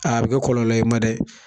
A be kɛ kɔlɔlɔ ye i ma dɛ!